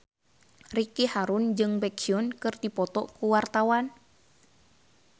Ricky Harun jeung Baekhyun keur dipoto ku wartawan